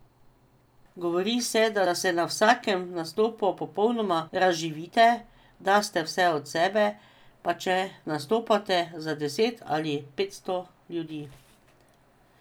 Govori se, da se na vsakem nastopu popolnoma razživite, daste vse od sebe, pa če nastopate za deset ali petsto ljudi.